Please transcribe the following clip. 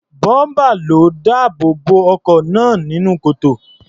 Bọ́ḿpà ló dáàbò bo ọkọ̀ náà nínú kòtò.